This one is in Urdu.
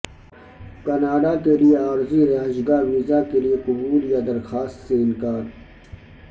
کینیڈا کے لئے عارضی رہائش گاہ ویزا کے لئے قبول یا درخواست سے انکار